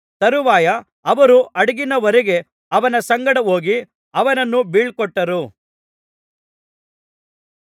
ತರುವಾಯ ಅವರು ಹಡಗಿನವರೆಗೆ ಅವನ ಸಂಗಡ ಹೋಗಿ ಅವನನ್ನು ಬೀಳ್ಕೊಟ್ಟರು